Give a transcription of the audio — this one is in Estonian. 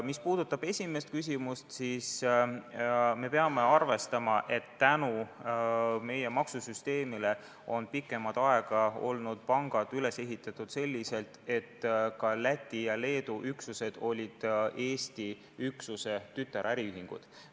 Mis puudutab esimest küsimust, siis me peame arvestama, et tänu meie maksusüsteemile on pikemat aega olnud pangad üles ehitatud selliselt, et ka Läti ja Leedu üksused on olnud Eesti üksuse tütaräriühingud.